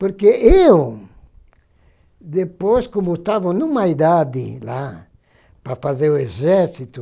Porque eu, depois, como tava em uma idade lá para fazer o exército,